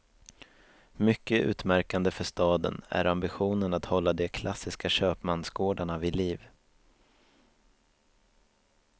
Mycket utmärkande för staden är ambitionen att hålla de klassiska köpmansgårdarna vid liv.